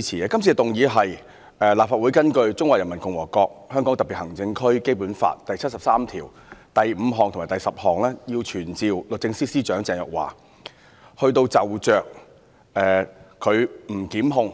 今次的議案是根據《中華人民共和國香港特別行政區基本法》第七十三條第五項和第十項，要求傳召律政司司長鄭若驊，就其不檢控